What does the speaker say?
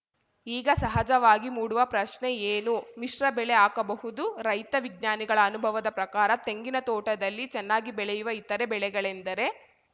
ಈಗ ಸಹಜವಾಗಿ ಮೂಡುವ ಪ್ರಶ್ನೆ ಏನು ಮಿಶ್ರ ಬೆಳೆ ಹಾಕಬಹುದು ರೈತ ವಿಜ್ಞಾನಿಗಳ ಅನುಭವದ ಪ್ರಕಾರ ತೆಂಗಿನ ತೋಟದಲ್ಲಿ ಚೆನ್ನಾಗಿ ಬೆಳೆಯುವ ಇತರೆ ಬೆಳೆಗಳೆಂದರೆ